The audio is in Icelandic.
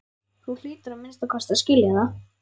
Þú hlýtur að minnsta kosti að skilja það.